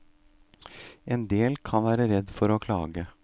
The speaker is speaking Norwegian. En del kan være redd for å klage.